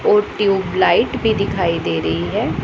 वो ट्यूबलाइट भी दिखाई दे रही है।